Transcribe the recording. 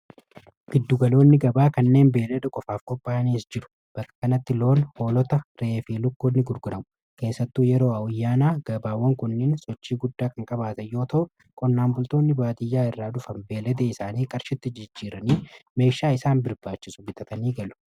Gidduugaloonni gabaa kanneen beellada qofaaf qophaa'aniis jiru bakkakanatti loon holota reefii lukkootni gurguramu keessattuu yeroo awuyyaanaa gabaawwan kunneen sochii guddaa kqabaata yoota konnaanbultoonni baadiyyaa irraa dhufan beeledee isaanii qarshitti jijjiiranii meeshaa isaan birbaachisu bitatanii galu.